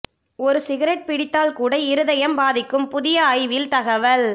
ஒரு சிகரெட் பிடித்தால் கூட இருதயம் பாதிக்கும் புதிய ஆய்வில் தகவல்